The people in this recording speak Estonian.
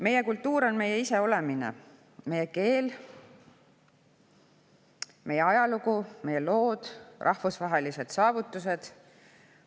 Meie kultuur on meie iseolemine, meie keel, meie ajalugu, meie lood, rahvusvahelised saavutused.